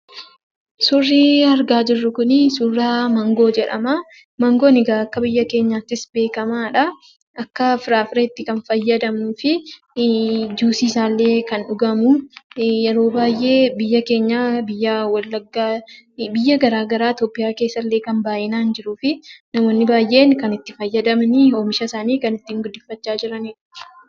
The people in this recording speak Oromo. Suurri argaa jirru kun suura maangoo jedhama. Maangoon egaa akka biyya keenyaattis beekamaadha. Akka firaafireetti kan fayydamnuu fi juusii isaallee kan dhugamu yeroo baay'ee biyya keenya biyya wallaggaa biyya garaagaraa Itoophiyaa keessallee baay'inaan wan jiruuf, namoonni baay'een kan itti fayyadaman oomisha isaanii kan ittii guddifachaa jiranidha.